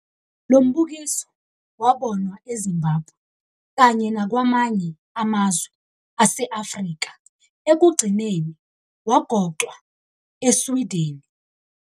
Lo mbukiso wabonwa eZimbabwe kanye nakwamanye amazwe ase-Afrika ekugcineni wagoqwa e-Swideni.